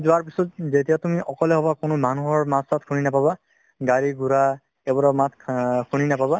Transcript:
পিছ্ত যেতিয়া তুমি অকলে হবা কোনো মানুহৰ মাত চাত শুনি নাপাবা গাড়ী ঘোঁৰা এইবোৰৰ মাত শুনি নাপাবা